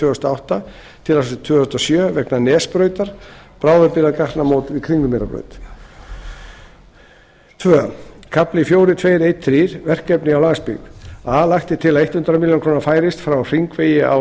þúsund og átta til ársins tvö þúsund og sjö vegna nesbrautar annar kafli fjögur tvö þrettán verkefni á landsbyggð a lagt er til að hundrað milljónir króna færist frá hringvegi á